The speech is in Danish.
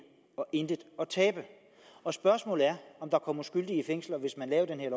og intet at tabe og spørgsmålet er om der kommer skyldige i fængsel hvis man laver den her